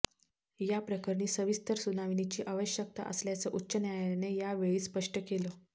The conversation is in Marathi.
या प्रकरणी सविस्तर सुनावणीची आवश्यकता असल्याचं उच्च न्यायालयाने यावेळी स्पष्ट केलं